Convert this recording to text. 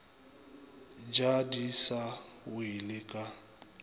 ja di sa welego ka